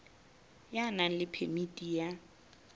ya nang le phemiti ya